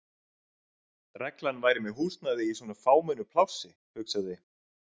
reglan væri með húsnæði í svona fámennu plássi, hugsaði